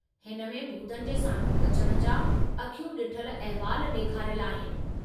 हिन में भूतनि जे साम्हूं अचण जा अखियूं ॾिठल अहिवाल ॾेखारियलु आहिनि।